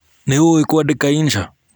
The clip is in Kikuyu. Nĩũĩ kũandĩka insha?